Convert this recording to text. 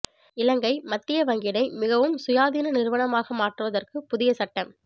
இலங்கை மத்திய வங்கியை மிகவும் சுயாதீன நிறுவனமாக மாற்றுவதற்கு புதிய சட்டம்